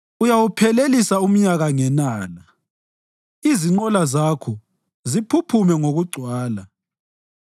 Uyawuphelelisa umnyaka ngenala, izinqola Zakho ziphuphume ngokugcwala.